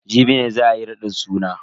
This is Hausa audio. Jibi ne za ayi raɗin suna.